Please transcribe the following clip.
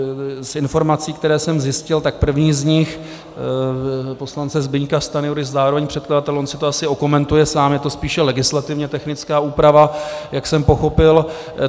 Z informací, které jsem zjistil, tak první z nich, poslance Zbyňka Stanjury, zároveň předkladatele, on si to asi okomentuje sám, je to spíše legislativně technická úprava, jak jsem pochopil.